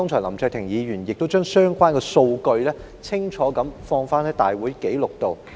林卓廷議員剛才清楚提及相關數據，以記錄入立法會會議紀錄中。